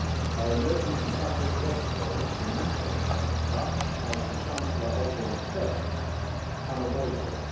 Our emergency budget yesterday was dramatic, but as the Chancellor Mr Osborne said, unavoidable.